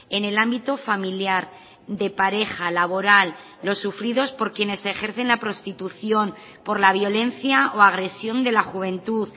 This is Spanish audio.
en el ámbito familiar de pareja laboral los sufridos por quienes ejercen la prostitución por la violencia o agresión de la juventud